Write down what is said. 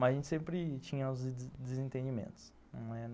Mas a gente sempre tinha os desentendimentos.